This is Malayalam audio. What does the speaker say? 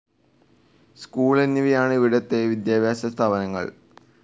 സ്കൂൾ എന്നിവയാണ് ഇവിടുത്തെ വിദ്യാഭ്യാസ സ്ഥാപനങ്ങൾ.